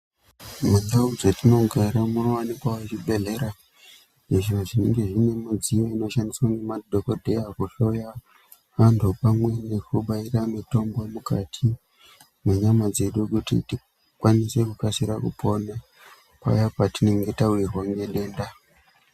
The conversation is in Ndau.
Muntau dzatinogara munowanikwa zvibhedhlera izvo zvinenge zvine midziyo inoshandiswa nemadhokodheya kuhloya vantu pamwe nokubayira mitombo mukati menyama dzedu kuti tikwanise kukasira kupona paya patinenge tawirwa ngentenda.